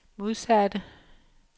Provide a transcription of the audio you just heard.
modsatte